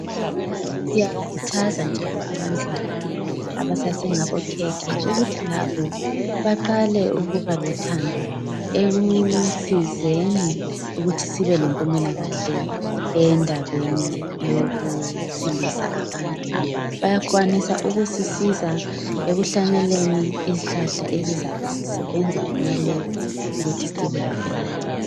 Siyakhuthaza njalo abantwana abasasengabokhekhe ukuthi labo baqale ukuba lothando ekusizeni ukuthi sibelempumelakahle endabeni yokusilisa abantu. Bayakwanisa ukusisiza ekuhlanyeleni izihlahla ezizabe zisebenza kumalab ukuthi sibelayo leyo mithi.